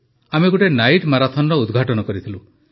ଆମେ ଗୋଟିଏ ନାଇଟ୍ ମାରାଥନର ଉଦ୍ଘାଟନ କରିଥିଲୁ